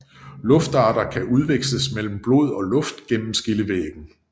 Luftarter kan udveksles mellem blod og luft gennem skillevæggen